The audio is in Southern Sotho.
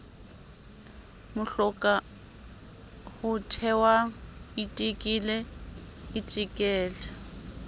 mohloka ho thetwa itekele itekele